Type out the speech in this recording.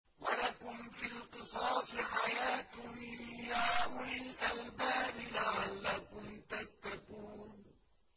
وَلَكُمْ فِي الْقِصَاصِ حَيَاةٌ يَا أُولِي الْأَلْبَابِ لَعَلَّكُمْ تَتَّقُونَ